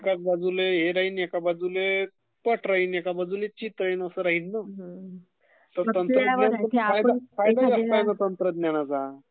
एका बाजीले हे राहिल्ये .....एका बाजूल्ये पट राहिल्ये, एका बाजूने चिट राहिलं असं राहिल्ये. फायदाचं आहे तंत्रज्ञानाचा..